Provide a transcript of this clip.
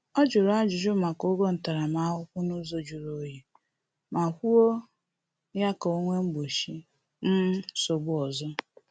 Ọ jụrụ ajuju maka ụgwọ ntaramahụhụ ahụ n’ụzọ juru onyi, ma kwụọ ya ka o wee gbochie um nsogbu ọzọ